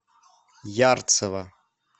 ярцево